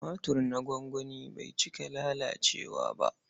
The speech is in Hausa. Tumatir na gwangwani bai cika lalacewa ba.